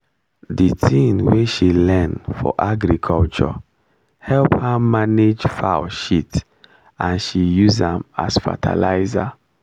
the thing wey she learn for agriculture help her manage fowl shit and she use am as fertilizer